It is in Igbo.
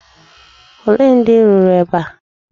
Olee ndị rụrụ ebe a?